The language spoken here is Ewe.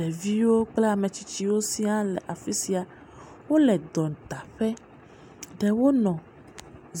Ɖeviwo kple ame tsitsiwo sia le afi sia. Wo le dɔdaƒe. Ɖewo nɔ